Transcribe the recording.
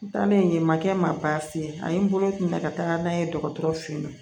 N taalen yen ma kɛ n ma baasi ye ani n bolo kun bɛ ka taga n'a ye dɔgɔtɔrɔ fɛ yen nɔ